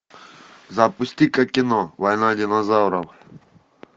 запусти ка кино война динозавров